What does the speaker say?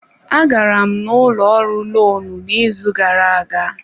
Agara m ụlọ ọrụ lonu n'izu gara-aga.